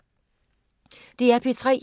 DR P3